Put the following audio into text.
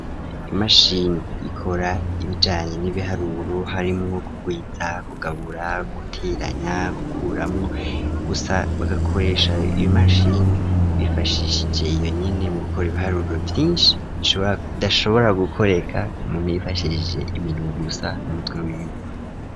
Imashini ikora ibijanye n'ibiharuru harimwo kugwiza, kugabura ,guteranya gukuramwo gusa bagakoresha ibimashini bifashishije yonyine, mu gukora ibiharuro, vyinshi udashobora gukoreka mu ntifashishije iminwe gusa numutwe w'iwe.